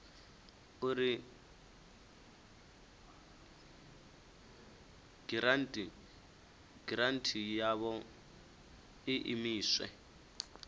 uri giranthi yavho i imiswe